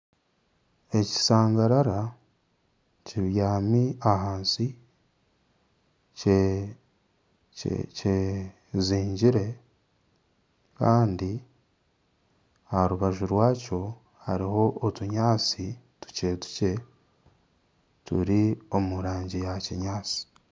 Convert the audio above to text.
Ekishangarara kibyami ahansi kyezingire kandi aha rubaju rwakyo hariho otunyansi tukyetukye turi omu rangi ya kinyaatsi